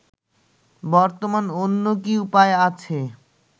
বর্তমান অন্য কি উপায় আছে